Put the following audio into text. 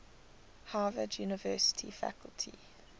harvard university faculty